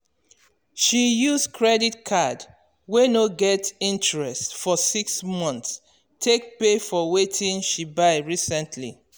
she use credit card wey no get interest for six months take pay for wetin she buy recently.